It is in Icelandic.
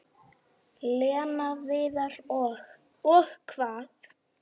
Lena, Viðar og- Og hvað?